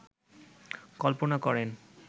কল্পনা করেন